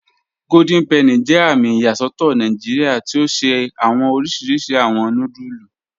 Golden Penny jẹ àmì iyasọtọ Nàìjíríà tí o ṣẹ̀ awọn òrìṣirìṣì awọn núdùlù